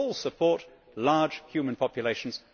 All support large human populations.